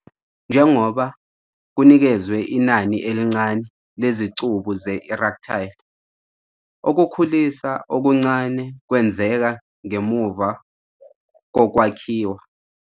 Njengoba kunikezwe inani elincane lezicubu ze-erectile, ukukhulisa okuncane kwenzeka ngemuva kokwakhiwa.